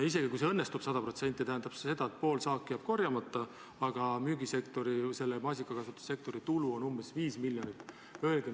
Isegi kui see õnnestub sada protsenti, tähendab see seda, et pool saaki jääb korjamata, aga maasikakasvatussektori tulu on umbes 5 miljonit.